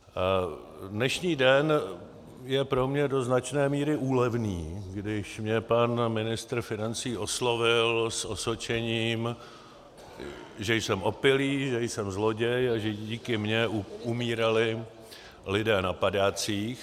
Dnešní den je pro mě do značné míry úlevný, když mě pan ministr financí oslovil s osočením, že jsem opilý, že jsem zloděj a že díky mně umírali lidé na padácích.